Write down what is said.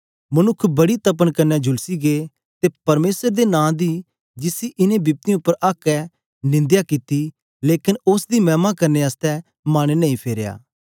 मनुक्ख बड़ी तपन कन्ने झुलसी गै ते परमेसर दे नां दी जिसी इनें बिपतियें उपर आक्क ऐ निंदया कित्ती लेकन उस्स दी मैह्मा करने आसतै मन नेई फेरेया